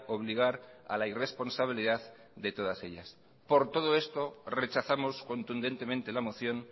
obligar a la irresponsabilidad de todas ellas por todo esto rechazamos contundentemente la moción